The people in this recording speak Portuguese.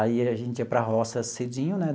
Aí a gente ia para a roça cedinho, né?